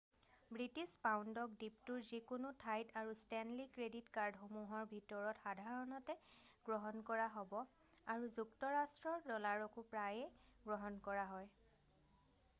British পাউণ্ডক দ্বীপটোৰ যিকোনো ঠাইত আৰু ষ্টেনলি ক্ৰেডিট কাৰ্ডসমূহৰ ভিতৰত সাধাৰণতে গ্ৰহণ কৰা হ'ব আৰু যুক্তৰাষ্ট্ৰৰ ড'লাৰকো প্ৰায়েই গ্ৰহণ কৰা হয়৷